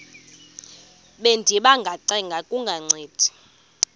bendiba ngacenga kungancedi